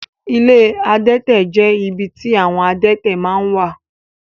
Ilé ìtọ́jú adẹ́tẹ̀ jẹ ibì tí àwọn adẹ́tẹ̀ máa n wà.